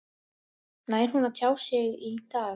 Nær hún að tjá sig í dag?